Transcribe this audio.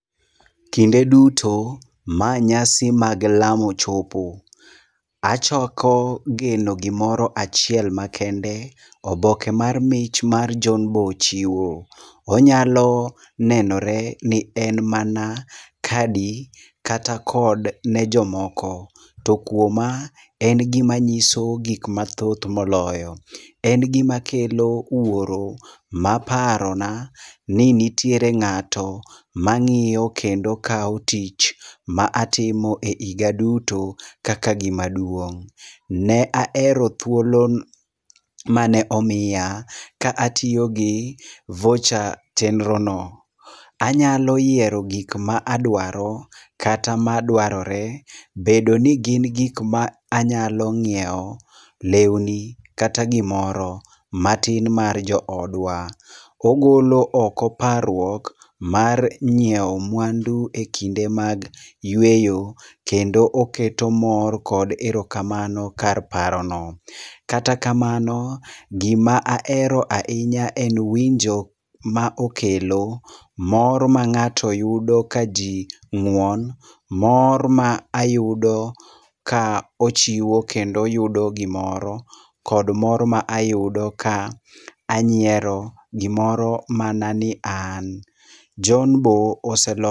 Kinde duto, ma nyasi mag lamo chopo, achoko geno gimoro achiel makende, oboke mar mich mar John Bo chiwo. Onyalo nenore ni en mana kadi kata kod ne jomoko , to kuoma, en gima nyiso gik mathoth moloyo. En gima kelo wuoro maparona ni nitiere ng'ato mang'iyo kendo kawo tich ma atimo e higa duto kaka gima duong'. Ne ahero thuolo mane omiya ka atiyo gi voucher chenro no. Anyalo yiero gik ma adwaro, kata madwarore bedo ni gin gik ma anyalo ng'iewo lewni kata gimoro matin mar joodwa. Ogolo oko parruok mar nyiewo mwandu e kinde mag yueyo kendo oketo mor kod erokamano. Kata kamano gima ahero go ahinya en winjo ma okelo, mor ma ng'ato yudo kaji ng'won, mor ma ayudo ka ochiwo kendo oyudo gimoro, kod mor ma ayudo ka anyiero. Gimoro mana ni an Jon bo ose..